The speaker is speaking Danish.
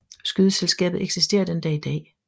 Skydeselskabet eksisterer den dag i dag